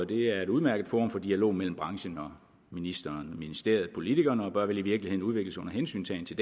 det er et udmærket forum for dialog mellem branchen og ministeren ministeriet og politikerne og bør vel i virkeligheden udvikles under hensyntagen til